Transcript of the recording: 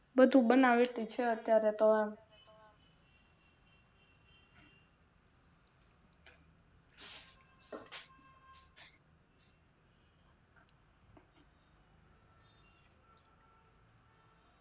બધું બનાવતી છે અત્યારે તો